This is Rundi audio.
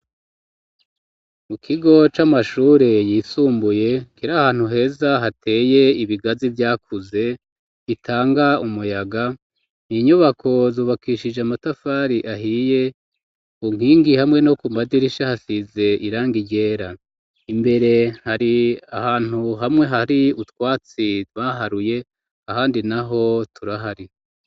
Mu kigo c'amashure yisumbuye kera ahantu heza hateye ibigazi vyakuze itanga umuyaga ninyubako zubakishije amatafari ahiye unkingi hamwe no ku madirisha hasize iranga iryera imbere hari ahantu hamwe hari utwatsi dwaharuye ahandi na ho turahari.